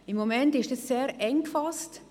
Im Moment ist das sehr eng gefasst.